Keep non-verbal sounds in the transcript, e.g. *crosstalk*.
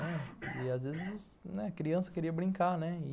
E, *coughs* às vezes, a criança queria brincar, né